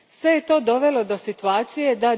Sve je to dovelo do situacije da